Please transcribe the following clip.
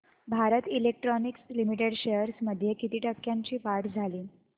Bharat electronics limited shares मध्ये किती टक्क्यांची वाढ झाली